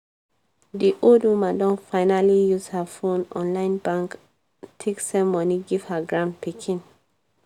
di old woman don finally use her phone online bank take send money give her granpikin